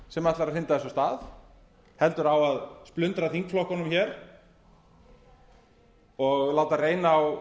sem ætlar að hrinda þessu af stað heldur á að splundra þingflokkunum og láta reyna á